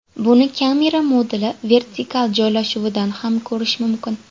Buni kamera moduli vertikal joylashuvidan ham ko‘rish mumkin.